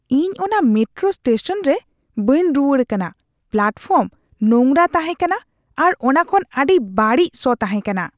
ᱤᱧ ᱚᱱᱟ metro station ᱨᱮ ᱵᱟᱹᱧ ᱨᱩᱣᱟᱹᱲ ᱠᱟᱱᱟ ᱾ ᱯᱞᱟᱴᱯᱷᱚᱨᱢ ᱱᱚᱝᱨᱟ ᱛᱟᱦᱮᱸ ᱠᱟᱱᱟ ᱟᱨ ᱚᱱᱟ ᱠᱷᱚᱱ ᱟᱹᱰᱤ ᱵᱟᱹᱲᱤᱡ ᱥᱚ ᱛᱟᱦᱮᱸ ᱠᱟᱱᱟ ᱾